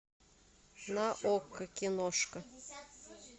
на окко киношка